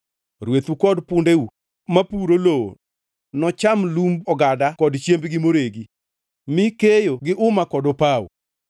Rwethu kod pundeu mapuro lowo nocham lumb ogada kod chiembgi moregi, mi keyo gi uma kod opawo.